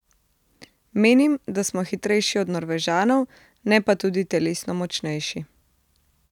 Menim, da smo hitrejši od Norvežanov, ne pa tudi telesno močnejši.